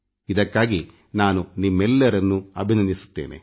ಇದಕ್ಕಾಗಿ ನಾನು ನಿಮ್ಮೆಲ್ಲರನ್ನೂ ಅಭಿನಂದಿಸುತ್ತೇನೆ